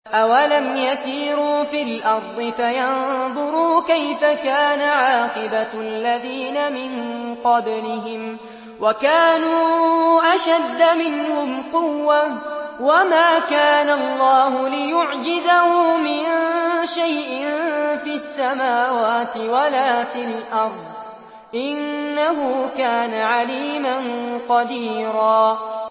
أَوَلَمْ يَسِيرُوا فِي الْأَرْضِ فَيَنظُرُوا كَيْفَ كَانَ عَاقِبَةُ الَّذِينَ مِن قَبْلِهِمْ وَكَانُوا أَشَدَّ مِنْهُمْ قُوَّةً ۚ وَمَا كَانَ اللَّهُ لِيُعْجِزَهُ مِن شَيْءٍ فِي السَّمَاوَاتِ وَلَا فِي الْأَرْضِ ۚ إِنَّهُ كَانَ عَلِيمًا قَدِيرًا